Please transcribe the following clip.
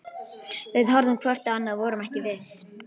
Við horfðum hvort á annað- og vorum ekki viss.